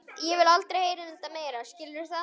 Ég vil aldrei heyra um þetta meira, skilurðu það?